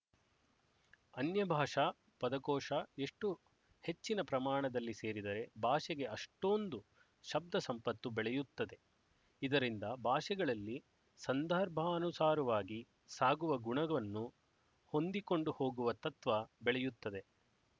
ಅನ್ಯಭಾಷಾ ಪದಕೋಶ ಎಷ್ಟು ಹೆಚ್ಚಿನ ಪ್ರಮಾಣದಲ್ಲಿ ಸೇರಿದರೆ ಭಾಷೆಗೆ ಅಷ್ಟೋಂದು ಶಬ್ದ ಸಂಪತ್ತು ಬೆಳೆಯುತ್ತದೆ ಇದರಿಂದ ಭಾಷೆಗಳಲ್ಲಿ ಸಂದರ್ಭಾನುಸಾರವಾಗಿ ಸಾಗುವ ಗುಣವನ್ನು ಹೊಂದಿಕೊಂಡು ಹೋಗುವ ತತ್ವ ಬೆಳೆಯುತ್ತದೆ